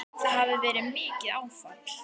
Það hafi verið mikið áfall.